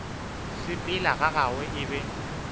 sepela ga gagwe e be